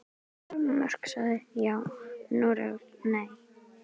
Danmörk sagði já, Noregur nei.